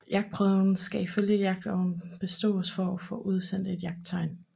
Jagtprøven skal ifølge jagtloven bestås for at få udstedt et jagttegn